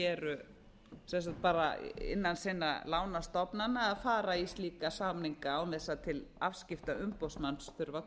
eru innan sinna lánastofnana að fara í slíka samninga án þess að til afskipta umboðsmanns þurfi